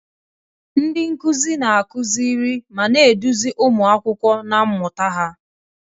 Ndị nkuzi na-akụziri ma na-eduzi ụmụ akwụkwọ na mmụta ha.